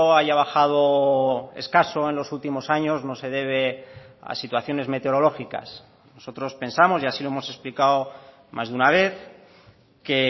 haya bajado escaso en los últimos años no se debe a situaciones meteorológicas nosotros pensamos y así lo hemos explicado más de una vez que